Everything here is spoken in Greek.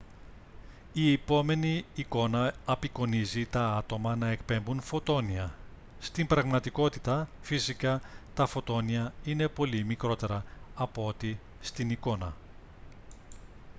η επόμενη εικόνα απεικονίζει τα άτομα να εκπέμπουν φωτόνια. στην πραγματικότητα φυσικά τα φωτόνια είναι πολύ μικρότερα από ό,τι στην εικόνα